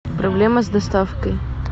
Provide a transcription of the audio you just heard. проблема с доставкой